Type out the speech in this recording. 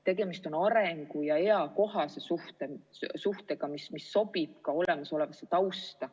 Tegemist peab olema arengu- ja eakohase suhtega, mis sobib ka olemasolevasse tausta.